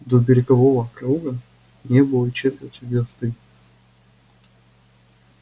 до берегового круга не было и четверти версты